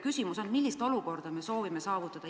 Küsimus on, millist olukorda me soovime saavutada.